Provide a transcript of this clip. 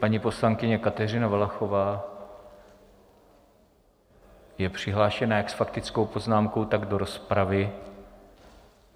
Paní poslankyně Kateřina Valachová je přihlášena jak s faktickou poznámkou, tak do rozpravy.